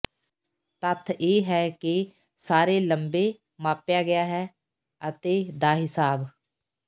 ਤੱਥ ਇਹ ਹੈ ਕਿ ਸਾਰੇ ਲੰਬੇ ਮਾਪਿਆ ਗਿਆ ਹੈ ਅਤੇ ਦਾ ਹਿਸਾਬ